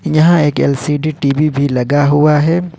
यहां एक LCD TV भी लगा हुआ है।